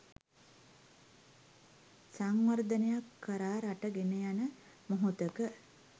සංවර්ධනයක් කරා රට ගෙනයන මොහොතක